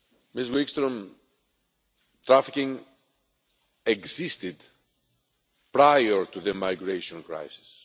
Mrs Wikström, trafficking existed prior to the migration crisis.